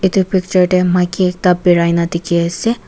itu picture tey maiki ekta birai na dikhi ase.